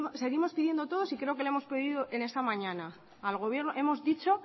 seguimos pidiendo todos y creo que le hemos pedido en esta mañana al gobierno le hemos dicho